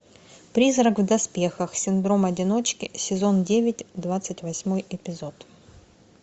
призрак в доспехах синдром одиночки сезон девять двадцать восьмой эпизод